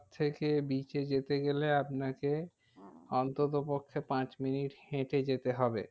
থেকে bridge এ যেতে গেলে আপনাকে অন্তত পক্ষে পাঁচ minutes হেঁটে যেতে হবে।